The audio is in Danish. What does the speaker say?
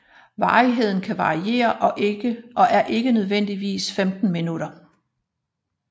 Varigheden kan variere og er ikke nødvendigvis 15 minutter